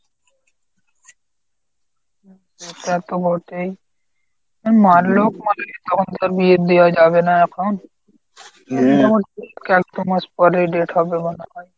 তা তো বটেই। মানলেও বিয়ে দেয়া যাবে না এখন। মাস পরেই date হবে মনে হয়।